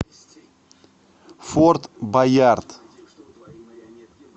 форт боярд